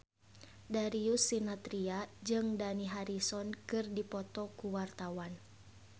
Darius Sinathrya jeung Dani Harrison keur dipoto ku wartawan